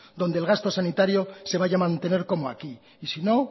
donde el gasto sanitario se vaya a mantener como aquí y sino